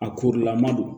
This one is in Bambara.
A korilama don